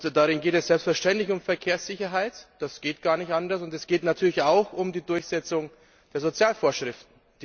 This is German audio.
Darin geht es selbstverständlich um Verkehrssicherheit, das geht gar nicht anders, und es geht natürlich auch um die Durchsetzung der Sozialvorschriften.